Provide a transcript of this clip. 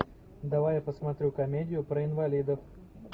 давай я посмотрю комедию про инвалидов